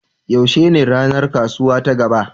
Yaushe ne ranar kasuwa ta gaba?